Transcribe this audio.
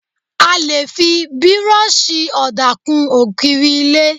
A lè fi Bírọ́ọ̀ṣì ọ̀dà kún ògiri ilé.